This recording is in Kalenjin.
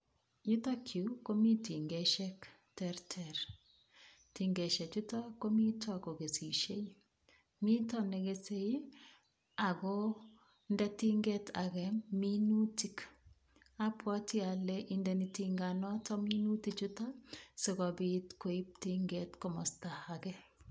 Yutokyu komi tingeshek terter, tingeshe chuto komito kokesisie, mito ne kesei ii akonde tinget ake minutik, abwati ale indeni tinganoto minutik chuto, sikobit koib tinget komosta age.